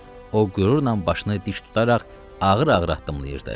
O qürurla başını dik tutaraq ağır-ağır addımlayırdı.